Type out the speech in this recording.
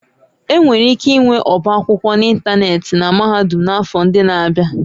Enwere ike ịnwe ọba akwụkwọ n'ịntanetị na mahadum n'afọ ndị na-abịa